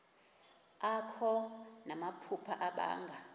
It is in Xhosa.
akho namaphupha abanga